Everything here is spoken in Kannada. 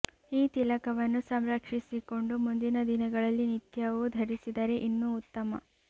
ಈ ತಿಲಕವನ್ನು ಸಂರಕ್ಷಿಸಿಕೊಂಡು ಮುಂದಿನ ದಿನಗಳಲ್ಲಿ ನಿತ್ಯವೂ ಧರಿಸಿದರೆ ಇನ್ನೂ ಉತ್ತಮ